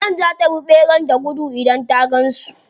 Magen za ta bi ɓera da gudu idan ta gan su.